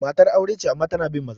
Matar aure ce amma tana bin maza.